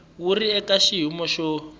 wu ri eka xiyimo xo